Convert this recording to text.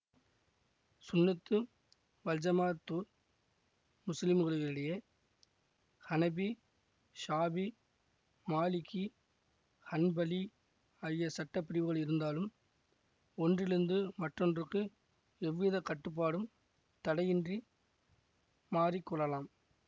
ஸுன்னத்து வல்ஜமாஅத்து முஸ்லிம்களிடையே ஹனபி ஷாபி மாலிகீ ஹன்பலீ ஆகிய சட்ட பிரிவுகள் இருந்தாலும் ஒன்றிலிருந்து மற்றொன்றுக்கு எவ்வித கட்டுப்பாடும் தடையின்றி மாறி கொள்ளலாம்